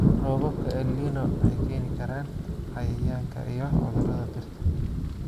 Roobabka El Niño waxay keeni karaan cayayaanka iyo cudurrada dhirta.